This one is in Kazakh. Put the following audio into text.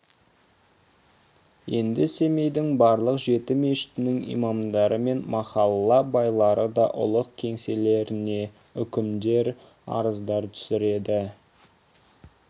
енді семейдің барлық жеті мешітінің имамдары мен махалла байлары да ұлық кеңселеріне үкімдер арыздар түсіреді